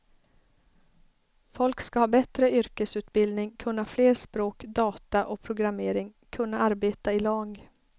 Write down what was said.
Folk ska ha bättre yrkesutbildning, kunna flera språk, data och programmering, kunna arbeta i lag.